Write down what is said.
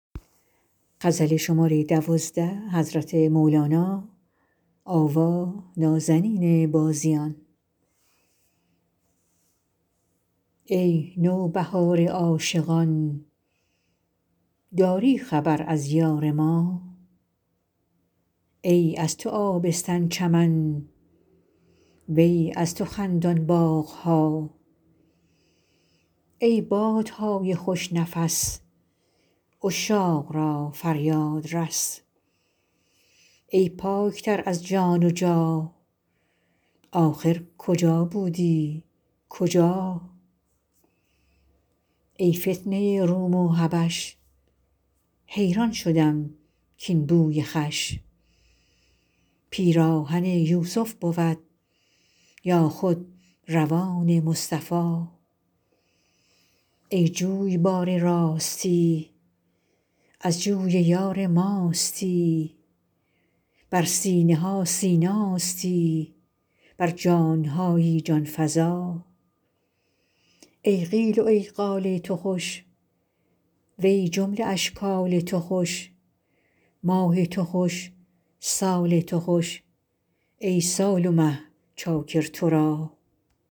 ای نوبهار عاشقان داری خبر از یار ما ای از تو آبستن چمن وی از تو خندان باغ ها ای باد نای خوش نفس عشاق را فریاد رس ای پاک تر از جان جا ن آخر کجا بودی کجا ای فتنه روم و حبش حیران شدم کاین بوی خوش پیراهن یوسف بود یا خود ردای مصطفی ای جویبار راستی از جوی یار ماستی بر سینه ها سیناستی بر جان هایی جان فزا ای قیل و ای قال تو خوش و ای جمله اشکال تو خوش ماه تو خوش سال تو خوش ای سال و مه چاکر تو را